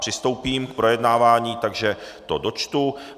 Přistoupím k projednávání, takže to dočtu.